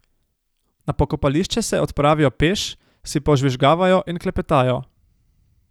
Na pokopališče se odpravijo peš, si požvižgavajo in klepetajo.